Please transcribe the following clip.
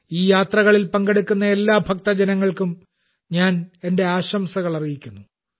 ഈ യാത്രകളിൽ പങ്കെടുക്കുന്ന എല്ലാ ഭക്തജനങ്ങൾക്കും ഞാൻ എന്റെ ആശംസകൾ അറിയിക്കുന്നു